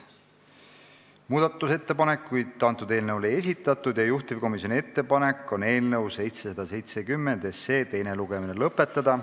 Muudatusettepanekuid eelnõu kohta ei esitatud ja juhtivkomisjoni ettepanek on eelnõu 770 teine lugemine lõpetada.